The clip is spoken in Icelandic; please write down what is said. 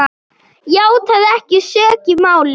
játaði ekki sök í málinu.